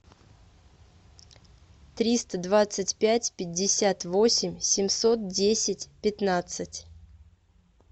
триста двадцать пять пятьдесят восемь семьсот десять пятнадцать